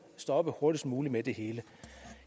stoppe hurtigst muligt med det hele